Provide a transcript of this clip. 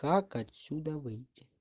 как отсюда выйти